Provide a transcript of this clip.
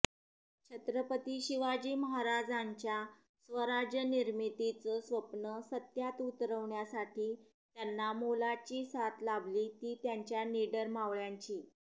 छत्रपती शिवाजी महाराजांच्या स्वराज्यनिर्मितीच स्वप्न सत्यात उतरवण्यासाठी त्यांना मोलाची साथ लाभली ती त्यांच्या निडर मावळ्यांची